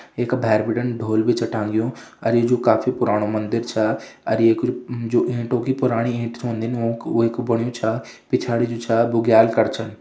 ये का भैर बिटिन ढोल भी छ टांग्यू अर ये जु काफी पुराणु मंदिर छा अर ये कु म-जो-म ईंटों की पुराणी ईंट ओंदी वों-वै कु बण्यु छा पिछाड़ी जु छा बुग्याल कर छन।